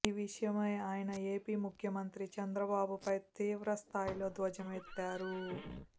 ఈ విషయమై ఆయన ఏపీ ముఖ్యమంత్రి చంద్రబాబుపై తీవ్ర స్థాయిలో ధ్వజమెత్తారు